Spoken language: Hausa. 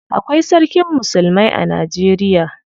Akwai sarkin musulmai a Najeriya.